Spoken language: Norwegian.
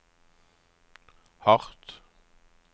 hardt